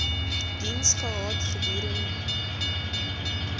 diens gehad gedurend